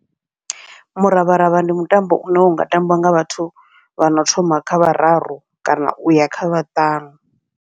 Muravharavha ndi mutambo une unga tambiwa nga vhathu vhano thoma kha vhararu kana uya kha vhaṱanu.